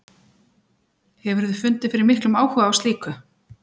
Hefurðu fundið fyrir miklum áhuga á slíku?